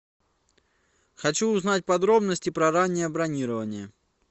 хочу узнать подробности про раннее бронирование